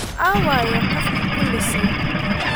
Aaway qofkii ku lisay?